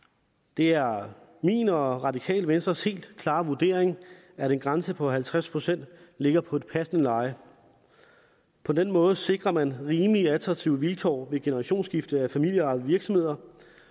det er min og radikale venstres helt klare vurdering at en grænse på halvtreds procent ligger på et passende leje på den måde sikrer man rimelig attraktive vilkår ved generationsskifte af familieejede virksomheder